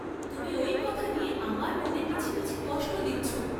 তুমি ঐ কথা নিয়ে আমার মনে মিছামিছি কষ্ট দিচ্ছ?